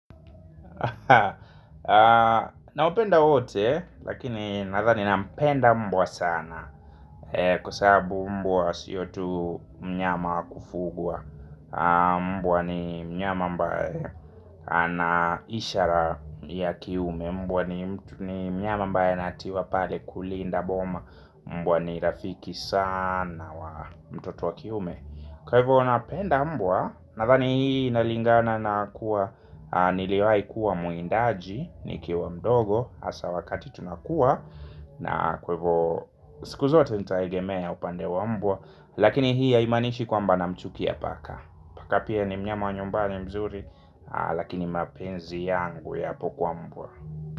Naopenda wote, lakini nathani nampenda mbwa sana kuasabu mbwa siyo tu mnyama wa kufugua. Mbwa ni mnyama ambae anaishara ya kiume. Mbwa ni mnyama mbae natiwa pale kulinda boma. Mbwa ni rafiki sana wa mtoto wa kiume. Kwa hivyo napenda mbwa. Nathani hii inalingana na kuwa niliwai kuwa muindaji nikiwa mdogo asa wakati tunakuwa na kwevo sikuzote nitaegemea upande wa mbwa. Lakini hii haimanishi kwamba namchukia paka. Paka pia ni mnyama wa nyumbani mzuri lakini mapenzi yangu yapo kwa mbwa.